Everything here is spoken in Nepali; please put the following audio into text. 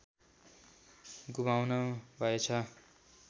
गुमाउनु भएछ